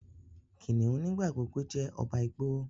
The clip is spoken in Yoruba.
Kìnìún nigbagbogbo jé ọba igbó.